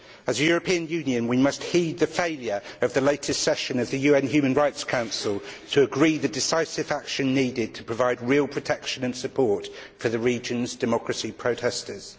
As a European Union we must heed the failure of the latest session of the UN Human Rights Council to agree the decisive action needed to provide real protection and support for the region's democracy protestors.